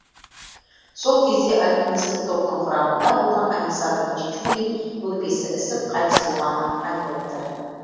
сол кезде альпинистік топтың құрамында болған александр чечулин өкпесі ісіп қайтыс болғаны айтылыпты